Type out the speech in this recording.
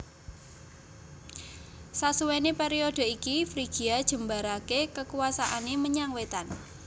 Sasuwene periode iki Frigia jembarake kekuwasane menyang wetan